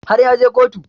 Har ya je kotu